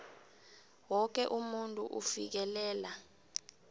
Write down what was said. woke umuntu ufikelela